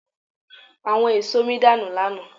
Àwọn èso mi dànù lánàá.